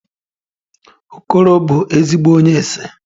Okoro bu ezigbo onye ese